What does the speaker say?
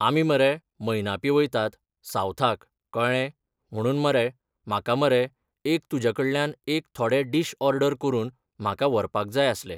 आमी मरे मयनापी वयतात सावथाक कळ्ळें म्हणून मरे म्हाका मरे एक तुज्या कडल्यान एक थोडे डीश ऑर्डर करून म्हाका व्हरपाक जाय आसले.